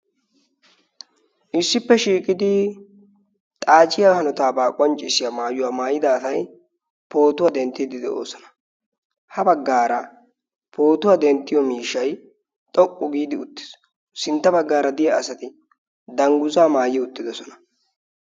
issippe shiiqidi xaaciya hanotaabaa quancciissiya maayuwaa maayida atai pootuwaa denttiiddi de7oosona. ha baggaara pootuwaa denttiyo miishai xoqqu giidi uttiis. sintta baggaara diya asati dangguzaa maayi uttidosona.